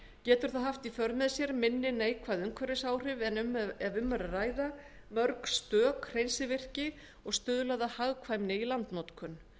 getur það haft í för með sér minni neikvæð umhverfisáhrif en ef um er að ræða mörg stök hreinsivirki og stuðlað að hagkvæmni í landnotkun